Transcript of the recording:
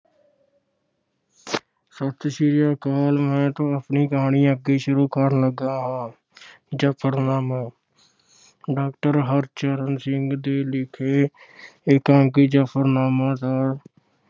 ਸਤਿ ਸ਼੍ਰੀ ਅਕਾਲ ਮੈਂ ਤੁਹਾਨੂੰ ਆਪਣੀ ਕਹਾਣੀ ਅੱਗੇ ਸ਼ੁਰੂ ਕਰਨ ਲੱਗਾ ਹਾਂ, ਅਹ ਜ਼ਫ਼ਰਨਾਮਾ doctor ਹਰਚਰਨ ਸਿੰਘ ਦੇ ਲਿਖੇ ਅਹ ਇਕਾਂਗੀ ਜ਼ਫ਼ਰਨਾਮਾ ਦਾ